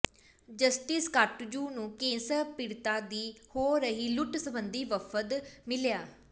justice Katju ਨੂੰ cancer ਪੀੜ੍ਹਤਾਂ ਦੀ ਹੋ ਰਹੀ ਲੁੱਟ ਸਬੰਧੀ ਵਫ਼ਦ ਮਿਲਿਆ